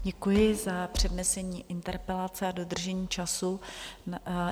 Děkuji za přednesení interpelace a dodržení času.